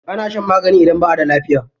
Ana shan magani idan ba'a da lafiya.